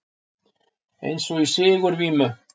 Eins og í sigurvímu.